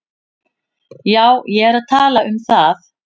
Já, ég er að tala um það.